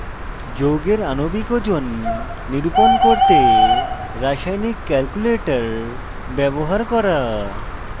যৌগের আণবিক ওজন নিরূপণ করতে রাসায়নিক calculator ব্যবহার করা